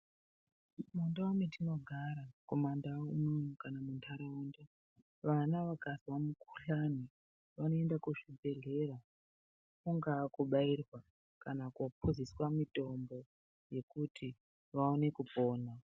Mu ndau metino gara ku mandau uno kana mu mandaraunda vana vakazwa mu kuhlani vano enda ku zvibhedhlera kunga kubairwa kana kupuziswa mitombo yekuti vaone kupona.